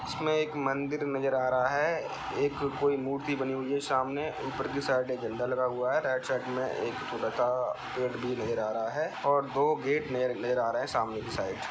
इसमें एक मंदिर नजर आ रहा है एक कोई मूर्ति बनी हुई है सामने ऊपर की साइड एक झंडा लगा हुआ है राइट साइड में एक छोटा-सा पेड़ भी नज़र आ रहा है और दो गेट नजर आ रहे हैं सामने की साइड ।